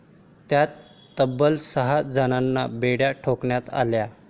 त्यात तब्बल सहा जणांना बेड्या ठोकण्यात आल्या.